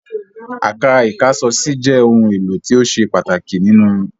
Àká ìkáṣọsí jẹ́ ohun-èlò tó ṣe pàtàkì nínú ìyàrá.